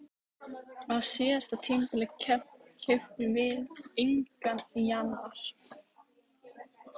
Á síðasta tímabili keyptum við engan í janúar.